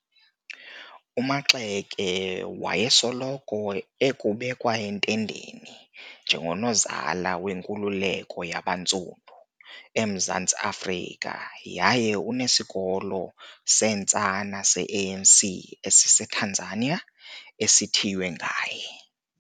UMaxeke wayesoloko ekubekwa entendeni 'njengoNozala weNkuleleko yabaNtsundu' eMzantsi Afrika yaye unesikolo seentsana seANC esiseTanzania esithiywe ngaye.